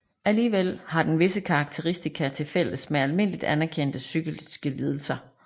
Alligevel har den visse karakteristika til fælles med almindeligt anerkendte psykiske lidelser